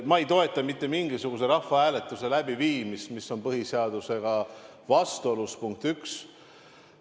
Ma ei toeta mitte mingisuguse rahvahääletuse läbiviimist, mis on põhiseadusega vastuolus – punkt üks.